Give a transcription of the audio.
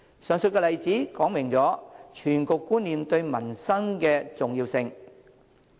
上述例子說明全局觀念對民生的重要性。